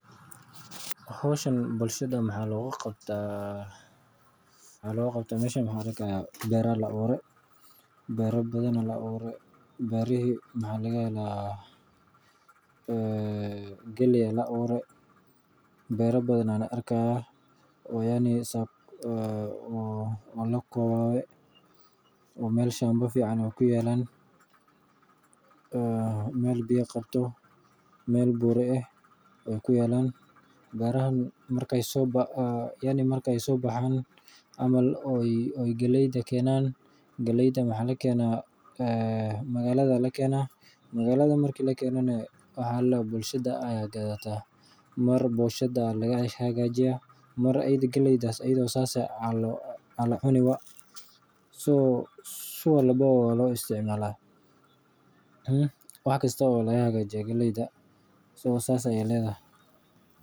Howshan bulshada waxaa loo qabtaa meeshan waxaa arkaaya beera ayaa la abuure galeey ayaa la abuure beera badan ayaan arki haaya oo lakobaabe meel fican ayeey kuyaalan oo buura ah marki aay soo baxaan suuqa ayaa lakeena bukshada ayaa gataan biusha ayaa laga hagajiya marmar sideeda ayaa loo cunaa.